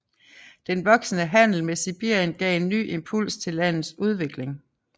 Den voksende handel med Sibirien gav en ny impuls til landets udvikling